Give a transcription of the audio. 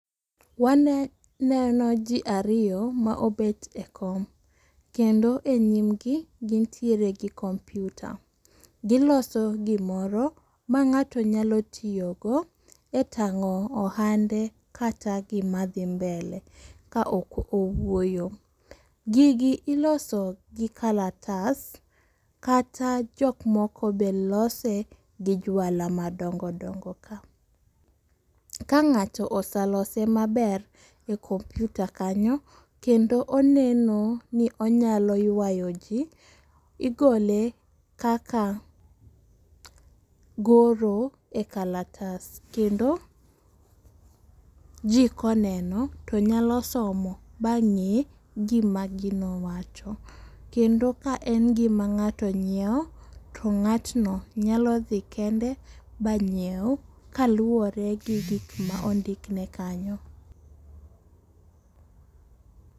Waneno ji ariyo ma obet e kom. Kendo e nyim gi gintiere gi kompyuta. Giloso gimoro ma ng'ato nyalo tiyogo e tang'o ohande kata gima dhi mbele ka ok owuoyo. Gigi iloso gi kalatas kata jok moko be lose gi jwala madongo dongo kama. Ka ng'ato oselose maber a kompyuta kanyo kendo oneno ni onyalo ywayo ji, igole kaka goro e kalatas. Kendo ji koneno tonyalo somo ma ng'e gima gino wacho. Kendo ka en gima ng'ato ng'iew to ng'atno nyalo dhi kende ma ng'iwe kaluwore gi gik ma ondikne kanyo.